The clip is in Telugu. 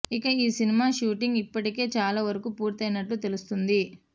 ఇక ఈ సినిమా షూటింగ్ ఇప్పటికే చాలా వరకు పూర్తయినట్లు తెలుస్తుంది